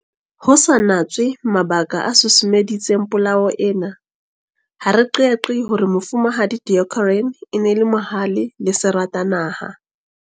Ho sa natswe mabaka a susumeditseng polao ena, ha re qeaqee hore Mofumahadi Deokaran e ne e le mohale le seratanaha.